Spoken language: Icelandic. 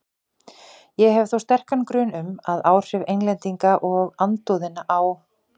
Ég hef þó sterkan grun um, að áhrif Englendinga og andúðina á